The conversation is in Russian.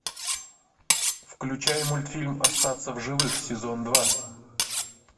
включай мультфильм остаться в живых сезон два